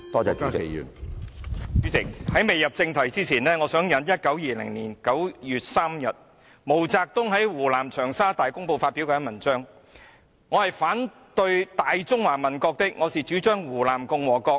主席，在未入正題前，我想引述1920年9月3日毛澤東於湖南長沙《大公報》發表的一篇文章，他說："我是反對'大中華民國'的，我是主張'湖南共和國'的。